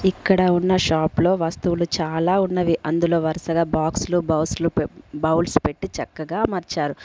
ఇక్కడ ఉన్న షాప్ లో వస్తువులు చాలా ఉన్నవి అందులో వరుసగా బాక్సులు బాస్లు పె బౌల్స్ పెట్టి చక్కగా అమర్చారు.